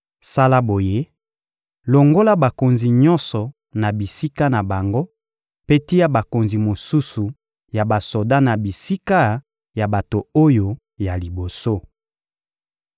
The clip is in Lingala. Sala boye: longola bakonzi nyonso na bisika na bango mpe tia bakonzi mosusu ya basoda na bisika ya bato oyo ya liboso.